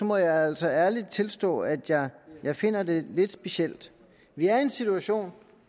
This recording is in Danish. må jeg altså ærligt tilstå at jeg finder det lidt specielt vi er i en situation